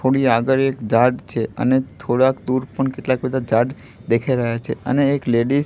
થોડી આગળ એક ઝાડ છે અને થોડાક દૂર પણ કેટલાક બધા ઝાડ દેખાઈ રહ્યા છે અને એક લેડીઝ --